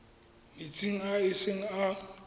metsing a e seng a